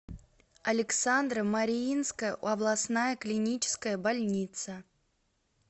александро мариинская областная клиническая больница